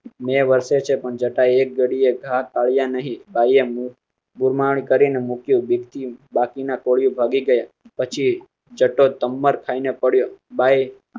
મેં વર્ષે પણ જટા એક ઘડી એક ઢાળિયા નહીં, ઢાળિયા બુમરાણ કરી મૂક્યું. બીક થી બાકીના કોળી ભાગી ગયા પછી ખાયી ને પડ્યો